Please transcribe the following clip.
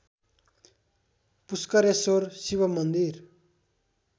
पुष्करेश्वर शिव मन्दिर